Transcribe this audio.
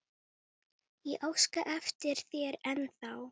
Sem betur fer svarar enginn.